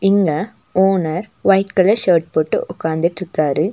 இங்க owner white colour shirt போட்டு உக்காந்துட்ருக்காரு.